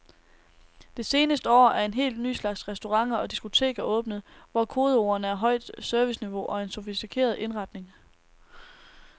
Det seneste år er en helt ny slags restauranter og diskoteker åbnet, hvor kodeordene er højt serviceniveau og en sofistikeret indretning.